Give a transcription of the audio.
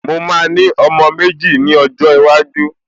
Mo máa ní ọmọ méjì ni ọjọ́ iwájú